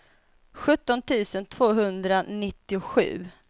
sjutton tusen tvåhundranittiosju